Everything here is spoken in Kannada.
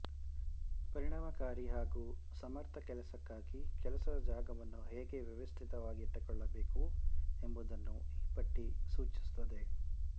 ಪರಿಣಾಮಕಾರಿ ಹಾಗೂ ಸಮರ್ಥ ಕೆಲಸಕ್ಕಾಗಿ ಕೆಲಸದ ಜಾಗವನ್ನು ಹೇಗೆ ವ್ಯವಸ್ಥಿತವಾಗಿಟ್ಟುಕೊಳ್ಳಬೇಕು ಎಂಬುದನ್ನು ಈ ಪಟ್ಟಿ ಸೂಚಿಸುತ್ತದೆ